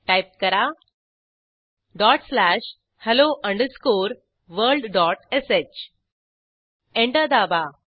type करा dot slash hello underscore world dot sh enter दाबा